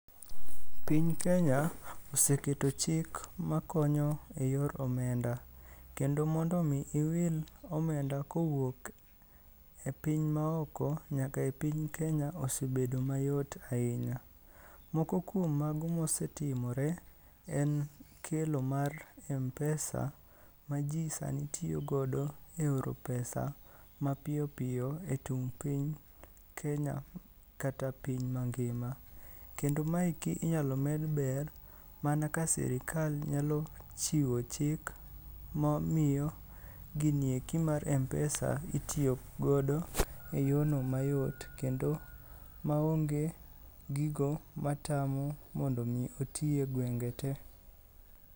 Piny Kenya oseketo chik makonyo e yor omenda, kendo mondo omi iwil omenda kowuok e piny maoko nyaka e piny Kenya osebedo mayot ahinya. Moko kuom mago mosetimore en kelo mar mpesa ma ji sani tiyogodo e oro pesa mapiyopiyo e tung' piny Kenya kata piny mangima. Kendo maeki inyalo med ber mana ka sirikal nyalo chiwo chik momiyo gini eki mar mpesa itiyogodo e yono mayot kendo maonge gigo matamo mondo omi oti e gwenge te.